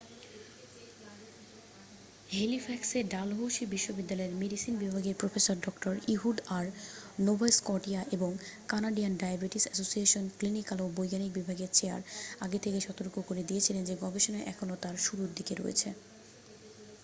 হেলিফ্যাক্সে Dalhousie বিশ্ববিদ্যালয়ের medicine বিভাগের professor ডঃ ইহুড আর নোভা স্কটিয়া এবং কানাডিয়ান ডায়াবেটিস এসোসিয়েশনের ক্লিনিক্যাল ও বৈজ্ঞানিক বিভাগের চেয়ার আগে থেকেই সতর্ক করে দিয়েছিলেন যে গবেষণা এখনও তার শুরুর দিকে রয়েছে